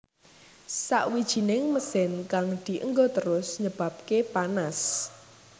Sawijining mesin kang dienggo terus nyebabake panas